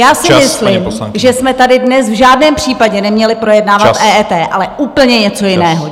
Já si myslím, že jsme tady dnes v žádném případě neměli projednávat EET , ale úplně něco jiného.